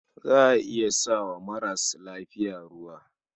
Za a iya fara sa wa maras lafiya ruwa.